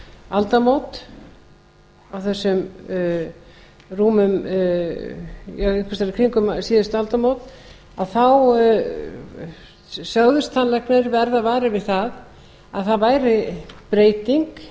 aldamót á þessum rúmu já einhvers staðar í kringum síðustu aldamót þá sögðust tannlæknar verða varir við að það væri breyting